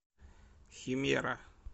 химера